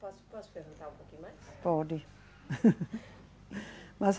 Posso, posso perguntar um pouquinho mais? Pode, mas